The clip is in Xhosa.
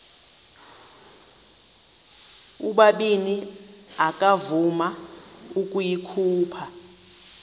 ubabini akavuma ukuyikhupha